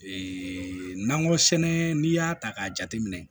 nakɔ sɛnɛ n'i y'a ta k'a jateminɛ